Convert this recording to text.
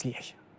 İzləyək.